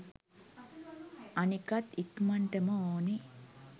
අනිකත් ඉක්මනටම ඕනේ